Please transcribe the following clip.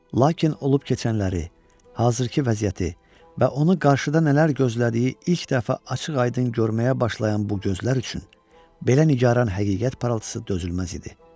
Lakin olub-keçənləri, hazırkı vəziyyəti və onu qarşıda nələr gözlədiyi ilk dəfə açıq-aydın görməyə başlayan bu gözlər üçün belə nigaran həqiqət parıltısı dözülməz idi.